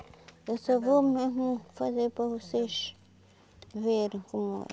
Eu só vou mesmo fazer para vocês verem como é.